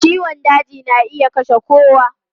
Ciwon daji na iya kashe kowa.